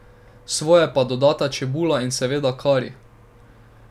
Svoje pa dodata čebula in seveda kari.